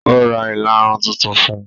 Ó Ra ìlarun tuntun fún un.